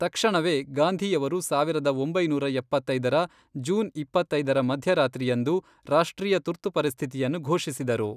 ತಕ್ಷಣವೇ, ಗಾಂಧಿಯವರು ಸಾವಿರದ ಒಂಬೈನೂರ ಎಪ್ಪತ್ತೈದರ ಜೂನ್ ಇಪ್ಪತ್ತೈದರ ಮಧ್ಯರಾತ್ರಿಯಂದು ರಾಷ್ಟ್ರೀಯ ತುರ್ತು ಪರಿಸ್ಥಿತಿಯನ್ನು ಘೋಷಿಸಿದರು.